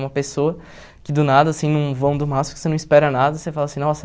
Uma pessoa que do nada, assim, num vão do MASP, que você não espera nada, você fala assim, nossa...